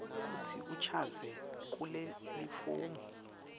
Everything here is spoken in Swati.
kutsi uchaze kulelifomu